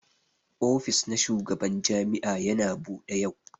Ofis na shugaban jami'a Yana Bude yau.